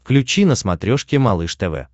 включи на смотрешке малыш тв